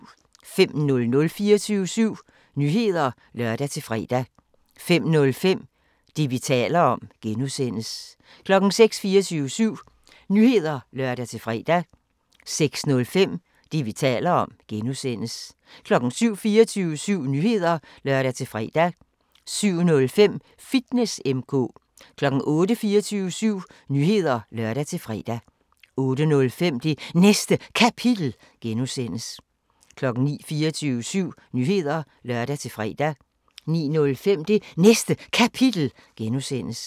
05:00: 24syv Nyheder (lør-fre) 05:05: Det, vi taler om (G) 06:00: 24syv Nyheder (lør-fre) 06:05: Det, vi taler om (G) 07:00: 24syv Nyheder (lør-fre) 07:05: Fitness M/K 08:00: 24syv Nyheder (lør-fre) 08:05: Det Næste Kapitel (G) 09:00: 24syv Nyheder (lør-fre) 09:05: Det Næste Kapitel (G)